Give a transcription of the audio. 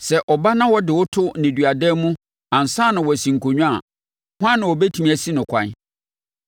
“Sɛ ɔba na ɔde wo to nneduadan mu ansa na wasi nkonnwa a, hwan na ɔbɛtumi asi no ɛkwan?